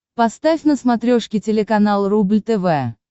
поставь на смотрешке телеканал рубль тв